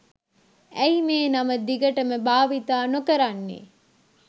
ඇයි මේ නම දිගටම භාවිතා නොකරන්නේ?